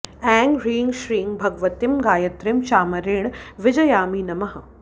ऐं ह्रीं श्रीं भगवतीं गायत्रीं चामरेण वीजयामि नमः